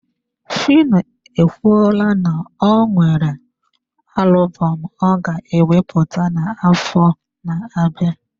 Phyno ekwuola na o nwere alubom ọ ga ewepụta n'afọ na-abịa.